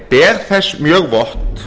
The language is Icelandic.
ber þess mjög vott